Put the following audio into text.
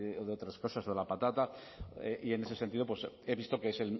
o de otras cosas o de la patata y en ese sentido pues he visto que es